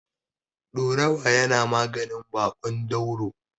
Ɗorawa yana maganin baƙon dauro.